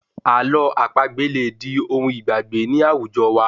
Àlọ́ àpagbè lè di ohun ìgbàgbé ní àwùjọ wa